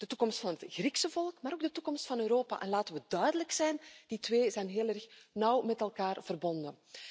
De toekomst van het Griekse volk, maar ook de toekomst van Europa, en laten we duidelijk zijn, die twee zijn heel nauw met elkaar verbonden.